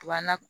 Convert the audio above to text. Wa na